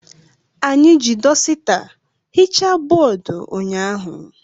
Anyị ji dọsita hichaa bọọdụ ụnyaahụ.